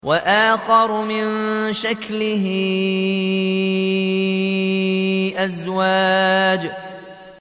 وَآخَرُ مِن شَكْلِهِ أَزْوَاجٌ